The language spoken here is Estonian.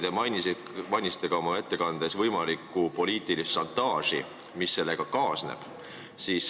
Te mainisite oma ettekandes võimalikku poliitilist šantaaži, mis sellega kaasneb.